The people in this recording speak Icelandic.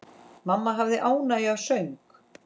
Mamma hafði ánægju af söng.